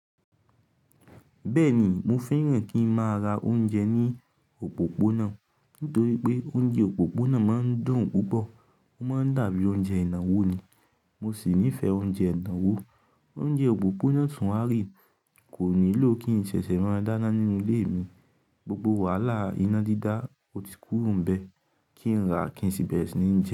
Bẹ́ẹ̀ ni, mo fẹ́ràn kí ń máa ra oúnjẹ ní òpópónà nítorí pé oúnjẹ òpópónà máa ń dùn púpọ̀, ó máa ń dàbí oúnjẹ ìnáwó ni, mo sì nífẹ̀ẹ́ oúnjẹ ìnáwó. Oúnjẹ òpópónà o tun wa real kò nílò kí ǹṣẹ̀ṣẹ̀ máa dáná nínú ilé mi, gbogbo wàhálà iná dídá ò tí kúro n bẹ́ẹ̀ kí ń rà à kínṣi bẹ̀rẹ si ni ń jẹ.